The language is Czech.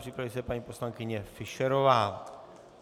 Připraví se paní poslankyně Fischerová.